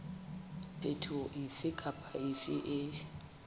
phetoho efe kapa efe e